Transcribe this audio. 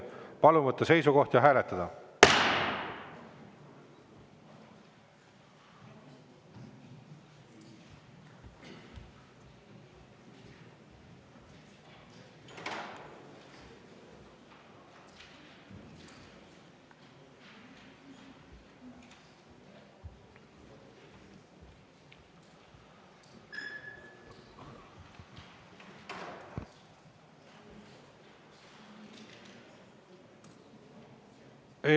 Palun võtta seisukoht ja hääletada!